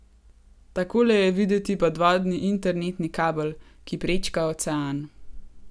Takole je videti podvodni internetni kabel, ki prečka ocean.